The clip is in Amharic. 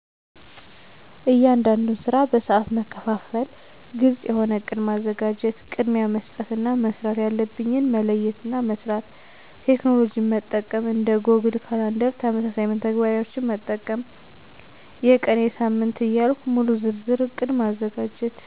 እያንዳንዱን ስራ በሰአት መከፋፈና ግልጽ የሆነ እቅድ ማዘጋጀት። ቅድሚያ መስጠት እና መስራት ያለብኝን መለየትና መስራት። ቴክኖሎጅን መጠቀም። እንደ ጎግል ካላንደር ተመሳሳይ መተግበሪያዎችን መጠቀም። የቀን፣ የሳምንት ዕያልኩ ሙሉ ዝርዝር እቅድ ማዘጋጀት።